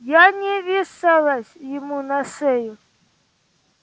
я не вешалась ему на шею